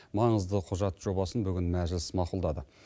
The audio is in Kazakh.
маңызды құжат жобасын бүгін мәжіліс мақұлдады